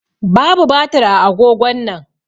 Babu batir a agogon nan.